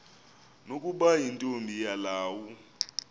nokuba yintombi yelawu